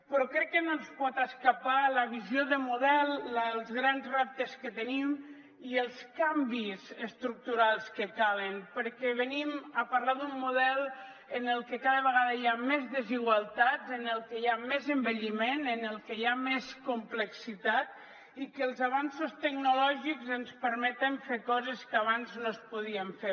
però crec que no se’ns pot escapar la visió de model els grans reptes que tenim i els canvis estructurals que calen perquè venim a parlar d’un model en què cada vegada hi ha més desigualtats en el que hi ha més envelliment en el que hi ha més complexitat i que els avenços tecnològics ens permeten fer coses que abans no es podien fer